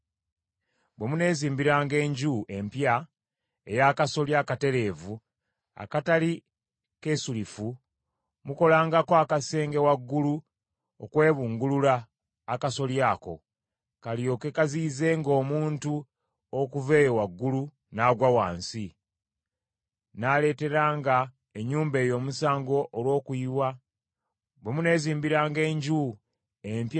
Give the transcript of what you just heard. Bwe muneezimbiranga enju empya ey’akasolya akatereevu akatali keesulifu, mukolangako akasenge waggulu okwebungulula akasolya ako, kalyoke kaziyizenga omuntu okuva eyo waggulu n’agwa wansi, n’aleeteranga ennyumba eyo omusango olw’omusaayi ogunaabanga guyiise.